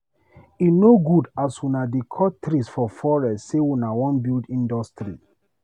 E no good as una dey cut trees for forest sey una wan build industry.